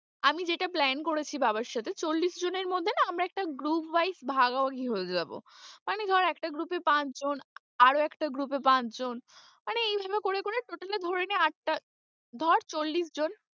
আমি যেটা Plan করেছি বাবার সাথে চল্লিশ জনের মধ্যে না আমরা একটা group wise ভাগাভাগি হয়ে যাব, মানে ধর একটা group এ পাঁচ জন আরও একটা group এ পাঁচ জন মানে এই ভাবে করে করে total এ ধরে নে আটটা ধর চল্লিশ জন।